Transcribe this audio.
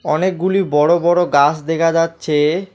অনেকগুলি বড়ো বড়ো গাছ দেখা যাচ্ছে।